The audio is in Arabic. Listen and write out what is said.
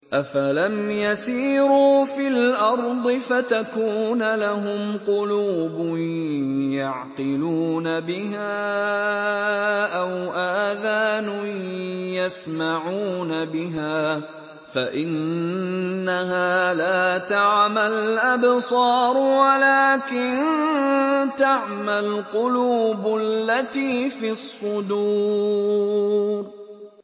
أَفَلَمْ يَسِيرُوا فِي الْأَرْضِ فَتَكُونَ لَهُمْ قُلُوبٌ يَعْقِلُونَ بِهَا أَوْ آذَانٌ يَسْمَعُونَ بِهَا ۖ فَإِنَّهَا لَا تَعْمَى الْأَبْصَارُ وَلَٰكِن تَعْمَى الْقُلُوبُ الَّتِي فِي الصُّدُورِ